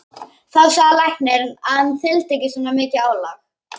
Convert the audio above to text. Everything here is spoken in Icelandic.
Þá sagði læknirinn að hann þyldi ekki svona mikið álag.